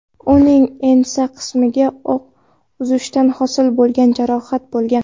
Uning ensa qismiga o‘q uzishdan hosil bo‘lgan jarohat bo‘lgan.